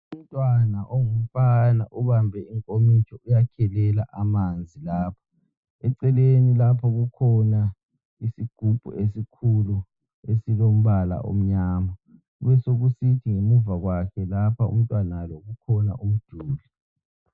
Umntwana ongumfana ubambe inkomitsho uyakhelela amanzi lapho. Eceleni lapho kukhona isigubhu esikhulu esilombala omnyama. Kubesokusithi ngemuva kwakhe lapha umntwana lo kukhona umduli.